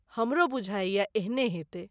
हमरो बुझाइये ,एहने हेतै।